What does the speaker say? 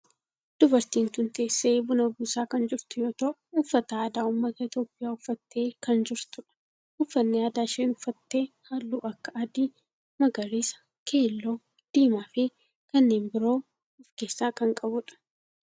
Dubartiin tun teessee buna buusaa kan jirtu yoo ta'u uffata aadaa ummata itiyoophiyaa uffattee kan jirtudha. uffanni aadaa isheen uffatte halluu akka adii, magariisa, keelloo, diimaa fi kanneen biroo of keessa kan qabudha.